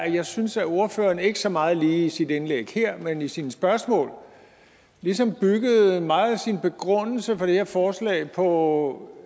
jeg synes at ordføreren ikke så meget i sit indlæg lige her men i sine spørgsmål ligesom byggede meget af sin begrundelse for det her forslag på